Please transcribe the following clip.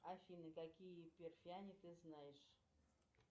афина какие эперфяне ты знаешь